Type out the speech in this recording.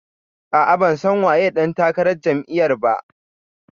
A'a, ban san waye ɗan takarar jam'iyar ba